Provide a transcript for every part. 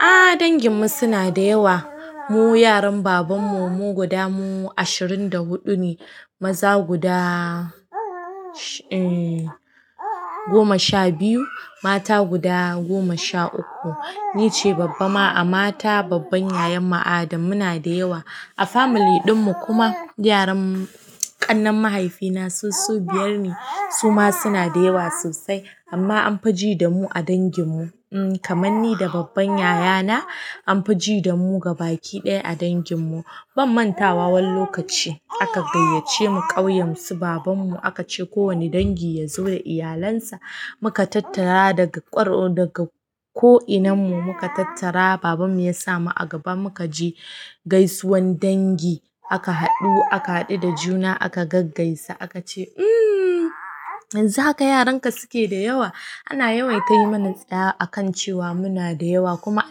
Ahhh dangin mu suna da yawa. Mu yaran babanmu mu guda mu ashirin da huɗu ne. Maza guda shhh. Eh goma sha biyu, mata guda goma sha uku. Nice babba ma a mata, babban yayan mu adam muna da yawa a family ɗinmu kuma. Yaran ƙannen mahaifina su su biyar ne, suma suna da yawa sosai amma anfi ji damu a dangin mu. Kaman ni da babban yaya na anfi ji da mu gabaki ɗaya a dangin mu. Ban manta wa wani lokaci aka gayyace mu ƙauyen su baban mu aka ce ko wani dangi ya zo da iyalansa. Muka tattara daga ƙwaro, daga ko'inanmu muka tattara. Babanmu ya sa mu a gaba muka je gaisuwan dangi. Aka haɗu aka haɗu da juna aka gaggaisa aka ce, "Umm yanzu haka yaran ka suke da yawa." Ana yawaita yi mana tsaya a kan cewa muna da yawa kuma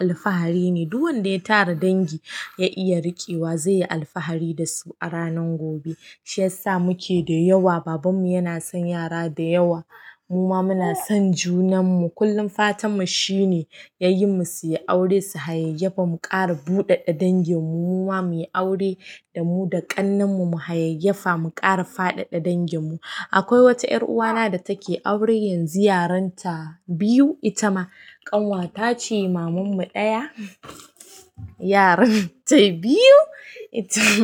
alfahari ne. Duk wanda ya tara dangi ya iya riƙewa zai yi alfahari da su a ranan gobe. Shi yasa muke da yawa. Baban mu yana son yara da yawa. Muma muna son junanmu. Kullun fatanmu shi ne yayin mu suyi aure su hayayyafa mu ƙara buɗeɗe dangin mu. Muma muyi aure da mu da ƙannenmu mu hayayyafa mu ƙara faɗaɗa dangin mu. Akwai wata 'yar uwa na da take aure yanzu yaranta biyu ita ma, ƙanwatace mamanmu ɗaya, yaran ta biyu itama.